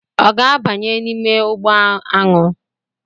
Ọ ga-abanye n'ime ugbo aṅụ